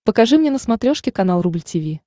покажи мне на смотрешке канал рубль ти ви